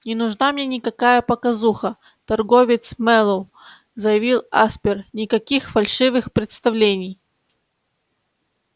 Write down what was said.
не нужна мне никакая показуха торговец мэллоу заявил аспер никаких фальшивых представлений